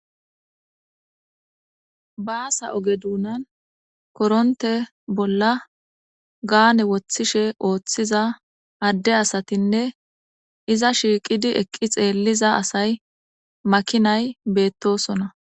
Bassa ogge dunan korontte bolla gaane wothtishe oothiza adde asatinne izza shiqqi eqqi xeliza asay maakinay bettosona.